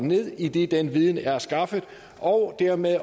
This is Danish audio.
ned idet den viden er skaffet og dermed